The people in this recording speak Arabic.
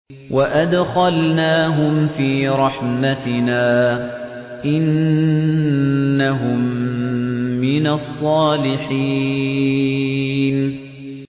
وَأَدْخَلْنَاهُمْ فِي رَحْمَتِنَا ۖ إِنَّهُم مِّنَ الصَّالِحِينَ